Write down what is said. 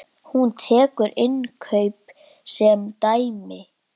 Hún tekur innkaup sem dæmi.